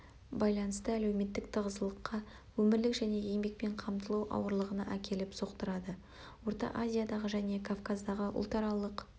байланысты әлеуметтік тығыздылыққа өмірлік және еңбекпен қамтылу ауырлығына әкеліп соқтырады орта азиядағы және кавказдағы ұлтаралық